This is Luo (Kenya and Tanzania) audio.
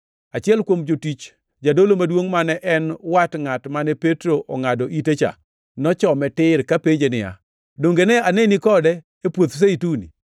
Achiel kuom jotich jadolo maduongʼ mane en wat ngʼat mane Petro ongʼado ite cha, nochome tir, kapenje niya, “Donge nende aneni kode e puoth Zeituni?”